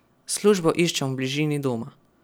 Službo iščem v bližini doma.